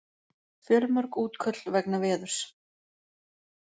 Fjölmörg útköll vegna veðurs